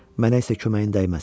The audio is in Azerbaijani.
Mənə isə köməyin dəyməz.